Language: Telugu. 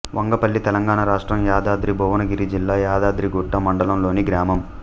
వంగపల్లి తెలంగాణ రాష్ట్రం యాదాద్రి భువనగిరి జిల్లా యాదగిరిగుట్ట మండలంలోని గ్రామం